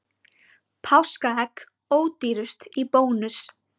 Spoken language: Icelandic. Páskaegg ódýrust í Bónus